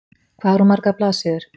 Hvað er hún margar blaðsíður?